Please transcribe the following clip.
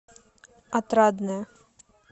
отрадное